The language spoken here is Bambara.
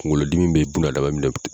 Kungolo dimi bɛ bunadama minɛ